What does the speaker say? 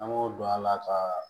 An b'o don a la ka